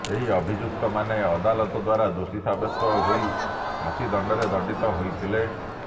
ଏହି ଅଭିଯୁକ୍ତମାନେ ଅଦାଲତ ଦ୍ୱାରା ଦୋଷୀ ସାବ୍ୟସ୍ତ ହୋଇ ଫାଶୀଦଣ୍ଡରେ ଦଣ୍ଡିତ ହୋଇଥିଲେ